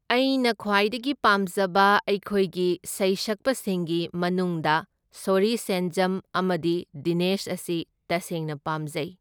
ꯑꯩꯅ ꯈ꯭ꯋꯥꯏꯗꯒꯤ ꯄꯥꯝꯖꯕ ꯑꯩꯈꯣꯏꯒꯤ ꯁꯩꯁꯛꯄꯁꯤꯡꯒꯤ ꯃꯅꯨꯡꯗ ꯁꯣꯔꯤ ꯁꯦꯟꯖꯝ ꯑꯃꯗꯤ ꯗꯤꯅꯦꯁ ꯑꯁꯤ ꯇꯁꯦꯡꯅ ꯄꯥꯝꯖꯩ꯫